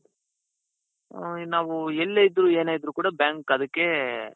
ಹ್ಮ್ ನಾವು ಎಲ್ಲೇ ಇದ್ರು ಏನೇ ಇದ್ರು ಕೂಡಾ bank ಅದಕ್ಕೆ